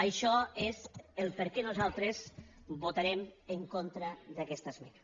això és el perquè nosaltres votarem en contra d’aquesta esmena